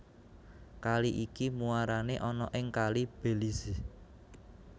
Kali iki muarane ana ing Kali Belize